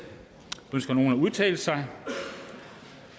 ønsker nogen at udtale sig